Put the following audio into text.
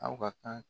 Aw ka kan